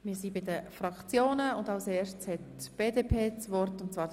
Wir kommen nun zu den Fraktionen.